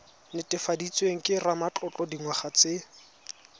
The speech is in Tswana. netefaditsweng ke ramatlotlo dingwaga tse